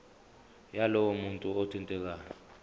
yalowo muntu othintekayo